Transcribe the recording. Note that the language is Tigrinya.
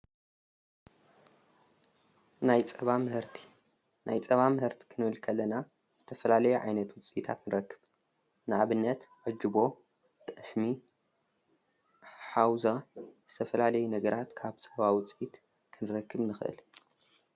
ናይ ፃባ ምህርቲ፣ ናይ ፃባ ምህርቲ ክንብል ከለና ዝተፈላለይ ዓይነት ውፂኢታት ንረክብ። ንኣብነት ኣጅቦ፣ ጠስሚ፣ ሓውዛ ዝተፈላለይ ነግራት ካብ ፀባ ውፂኢት ኽንረክብ ንኽል።